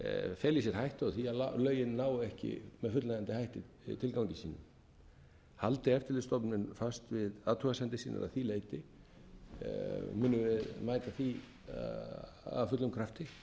feli í sér hættu á því að lögin nái ekki með fullnægjandi hætti tilgangi sínum haldi eftirlitsstofnun fast við athugasemdir sínar að því leyti munum við mæta því af fullum krafti